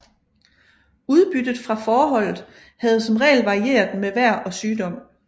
Udbyttet fra fåreholdet havde som regel varieret med vejr og sygdom